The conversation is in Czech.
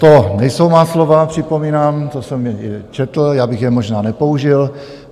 To nejsou má slova, připomínám, to jsem četl, já bych je možná nepoužil.